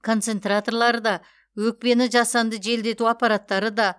концентраторлары да өкпені жасанды желдету аппараттары да